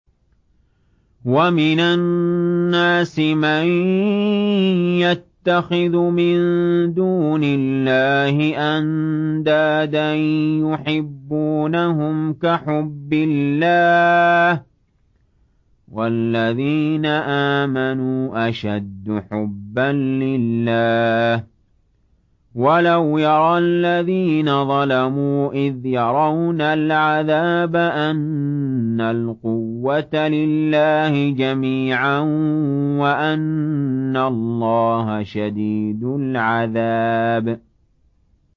وَمِنَ النَّاسِ مَن يَتَّخِذُ مِن دُونِ اللَّهِ أَندَادًا يُحِبُّونَهُمْ كَحُبِّ اللَّهِ ۖ وَالَّذِينَ آمَنُوا أَشَدُّ حُبًّا لِّلَّهِ ۗ وَلَوْ يَرَى الَّذِينَ ظَلَمُوا إِذْ يَرَوْنَ الْعَذَابَ أَنَّ الْقُوَّةَ لِلَّهِ جَمِيعًا وَأَنَّ اللَّهَ شَدِيدُ الْعَذَابِ